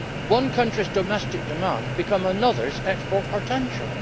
One country's domestic demand becomes another's export potential.